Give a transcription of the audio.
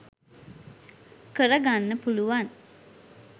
කර ගන්න පුළුවන්.